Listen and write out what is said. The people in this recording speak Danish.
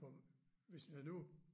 For hvis man nu